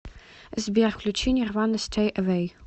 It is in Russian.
сбер включи нирвана стэй эвэй